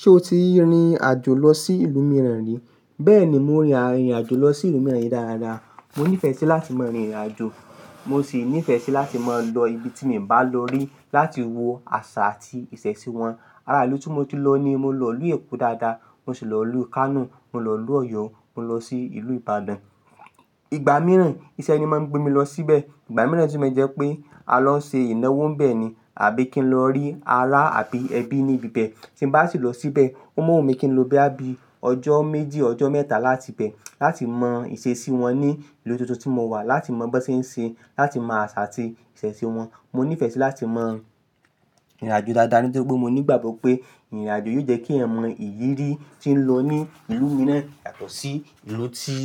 Ṣé o ti rin ìrìn àjò lọ sí ìlú mìíràn rí? Bẹ́ẹ̀ni, mo rin ìrìn àjò lọ sí ìlú mìíràn rì dáadáa. Mo nífẹ̀ẹ́ sí láti máa rin ìrìn àjò. Mo ṣì nífẹ̀ẹ́ sí láti máa lọ ibi tí mi o bá lọ rí, láti wo àṣà àti ìṣẹ̀ṣe wọn. Ara ìlú tí mo ti lọ ni mo lọ ìlú Èkó dáadáa, mo ṣì lọ ìlú Kano, mo lọ ìlú Ọ̀yọ́, mo lọ sí ìlú Ìbàdàn. Ìgbà mìíràn iṣẹ́ ni máa ń gbé mi lọ síbẹ̀. Ìgbà mìíràn si maa n jẹ́ pé, a lọ ń ṣe ìnáwó n bẹ́ẹ̀ ni, àbí kí n lọ rí ará àbí ẹbí ní ibi bẹ́ẹ̀. Tí m bá sì lọ síbẹ̀, ó mọ́ wù mí kí n lo boya bí ọjọ́ méjì, ọjọ́ mẹ́ta láti ibẹ̀. Láti mọ ìṣesí wọn ní ìlú tuntun tí mo wà, láti mọ bí wọ́n ṣe ń ṣe, láti mọ àṣà àti ìṣẹ̀ṣe wọn. Mo nífẹ̀ẹ́ sí láti mọ rirìn àjò dáadáa, nítorí pé mo ní ìgbàgbọ́ pé, ìrìn àjò yóò jẹ́ kí ẹ̀yan mọ́ ìríri tí ń lọ ní ìlú mìíràn yàtọ̀ sí ìlú tí